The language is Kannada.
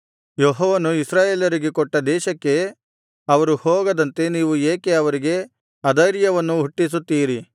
ಯೆಹೋವನು ಇಸ್ರಾಯೇಲರಿಗೆ ಕೊಟ್ಟ ದೇಶಕ್ಕೆ ಅವರು ಹೋಗದಂತೆ ನೀವು ಏಕೆ ಅವರಿಗೆ ಅಧೈರ್ಯವನ್ನು ಹುಟ್ಟಿಸುತ್ತೀರಿ